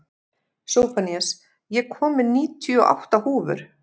Sophanías, ég kom með níutíu og átta húfur!